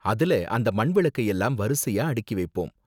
அதுல அந்த மண் விளக்கை எல்லாம் வரிசையா அடுக்கி வைப்போம்.